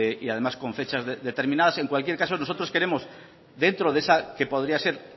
y además con fechas determinadas en cualquier caso nosotros queremos dentro de esa que podría ser